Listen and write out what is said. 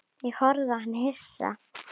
Ég horfði á hann hissa.